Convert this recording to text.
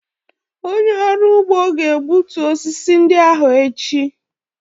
Onye ọrụ ugbo ga-egbutu osisi ndị ahụ echi.